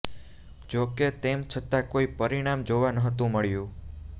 જો કે તેમ છતા કોઇ પરિણામ જોવા નહોતું મળ્યું